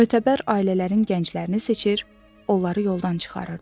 Mötəbər ailələrin gənclərini seçir, onları yoldan çıxarırdı.